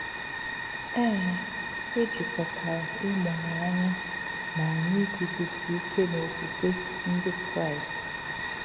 Ee, e jikọtara ịmụrụ anya na anyị iguzosi ike n’okwukwe Ndị Kraịst.